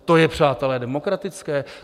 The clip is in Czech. To je, přátelé, demokratické?